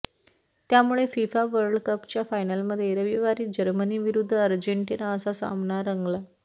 त्यामुळे FIFA world कपच्या फायनलमध्ये रविवारी जर्मनी विरूद्ध अर्जेंटिना असा सामना रंगला